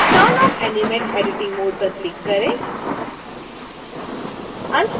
अब turn off animate editing mode पर click करें